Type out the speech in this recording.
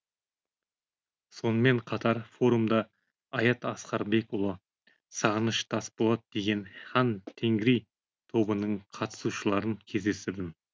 сонымен қатар форумда аят асқарбекұлы сағыныш тасболат деген хан тенгри тобының қатысушыларын кездестірдім